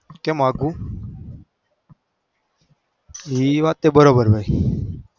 કેમ આઘું એ વાતે બરાબર ભાઈ.